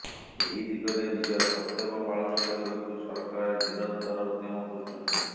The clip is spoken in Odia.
ଏହି ଦିଗରେ ନିଜର କର୍ତ୍ତବ୍ୟ ପାଳନ କରିବାକୁ ସରକାର ନିରନ୍ତର ଉଦ୍ୟମ କରୁଛନ୍ତି